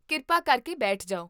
ਕਿਰਪਾ ਕਰਕੇ ਬੈਠ ਜਾਓ